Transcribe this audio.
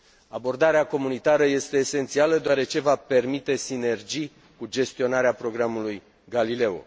Abordarea comunitară este esențială, deoarece va permite sinergii cu gestionarea programului Galileo.